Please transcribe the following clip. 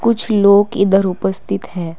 कुछ लोग इधर उपस्थित हैं।